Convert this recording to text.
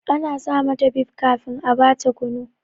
Ana sa mata bib kafin a ba ta kunu.